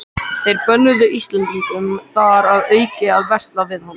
Þeir bönnuðu Íslendingum þar að auki að versla við hann.